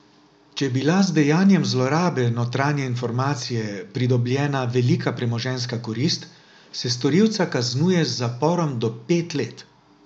Če je bila z dejanjem zlorabe notranje informacije pridobljena velika premoženjska korist, se storilca kaznuje z zaporom do pet let.